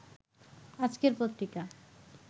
আজকের পত্রিকা